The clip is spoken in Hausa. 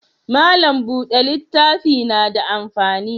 Mallam bude littafi na da amfani?